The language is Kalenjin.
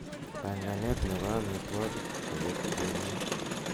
panganut nepo amitwogik koyop jumia